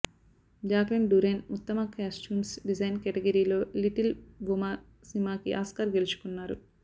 Jacqueline Durran ఉత్తమ costumes design కేటగిరీలో little woman సినిమాకి ఆస్కార్ గెలుచుకున్నారు